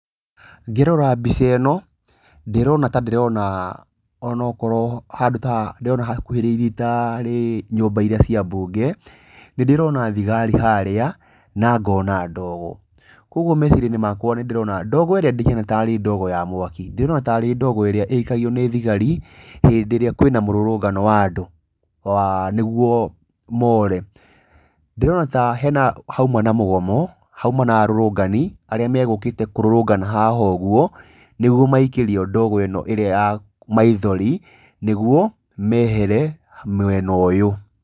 Ngĩrora mbica ĩno, ndĩrona ta ndĩrona o na okorwo, handũ ta ndĩrona hakuhĩrĩirie ta arĩ nyũmba iria cia mbunge. Nĩ ndĩrona thigari harĩa na ngona ndogo. Kwoguo meciria-inĩ makwa nĩ ndĩrona ndogo ndĩhiana ta arĩ ndogo ya mwaki. Ndĩrona ta arĩ ndogo ĩrĩa ĩikagio nĩ thigari hĩndĩ ĩrĩa kwĩna mũrũrũngano wa andũ nĩguo more. Ndĩrona ta..nĩ hauma na mũgomo, hauma na arũrũngani arĩa megũkĩte kũrũrũngana haha ũguo, nĩguo maikĩrio ndogo ĩno ĩrĩa ya maithori nĩguo mehere mwena ũyũ.